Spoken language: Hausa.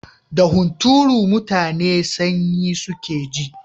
Da hunturu mutane sanyi suke ji.